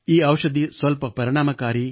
ಈ ಔಷಧಿ ಸ್ವಲ್ಪ ಪರಿಣಾಮಕಾರಿಯಾಗಿದೆ